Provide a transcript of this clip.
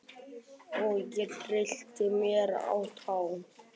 Og ég tyllti mér á tá.